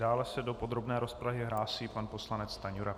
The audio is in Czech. Dále se do podrobné rozpravy hlásí pan poslanec Stanjura.